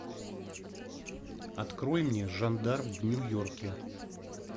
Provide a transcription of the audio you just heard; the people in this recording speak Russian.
открой мне жандарм в нью йорке